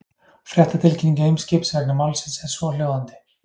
Fréttatilkynning Eimskips vegna málsins er svohljóðandi.